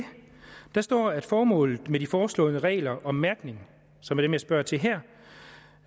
står at formålet med de foreslåede regler om mærkning som jeg spørger til her